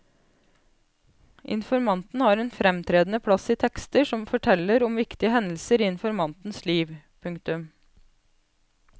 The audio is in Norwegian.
Informanten har en fremtredende plass i tekster som forteller om viktige hendelser i informantens liv. punktum